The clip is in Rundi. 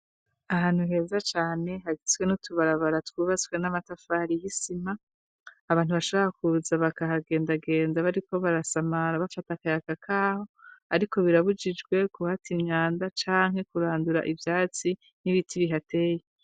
Ahantu heza cane hagitswe n' utubarabara twubatswe n'amatafari y'isima abantu bashaboa kuza bakahagendagenda bariko barasamara bafata akayaga k'aho, ariko birabujijwe kuhata imyanda canke kurandura ivyatsi n'ibiti bihateye.